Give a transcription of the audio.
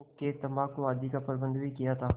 हुक्केतम्बाकू आदि का प्रबन्ध भी किया था